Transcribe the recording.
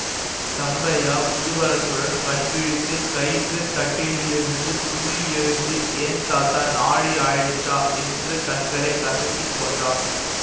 தம்பையா குதூகலத்துடன் கண் விழித்து கயிற்றுக் கட்டிலிலிருந்து துள்ளி எழுந்து ஏந் தாத்தா நாழியாயிடுச்சா என்று கண்களை கசக்கி கொண்டான்